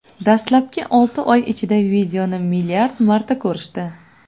Dastlabki olti oy ichida videoni milliard marta ko‘rishdi.